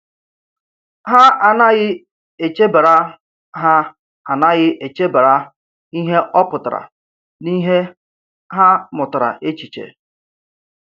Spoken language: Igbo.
Ha anaghị echebara Ha anaghị echebara ihe ọ pụtara n’ihe ha mụtara echiche.